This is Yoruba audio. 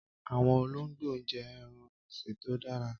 Àwọn olóńgbò jẹ́ ẹran-ọ̀sìn tó dára.